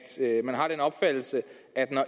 man har den opfattelse at når